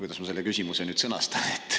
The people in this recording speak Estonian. Kuidas ma selle küsimuse nüüd sõnastan …?